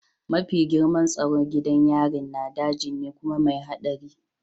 Mafi girman tsaro gidan yarin na daji ne kuma mai haɗari